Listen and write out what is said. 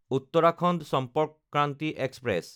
Uttarakhand Sampark Kranti express